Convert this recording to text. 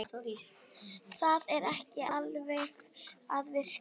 Það er ekki alveg að virka